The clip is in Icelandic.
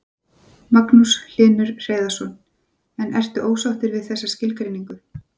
Magnús Hlynur Hreiðarsson: En ertu ósáttur við þessa skilgreiningu?